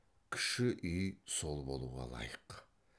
кіші үй сол болуға лайық